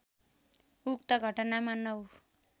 उक्त घटनामा ९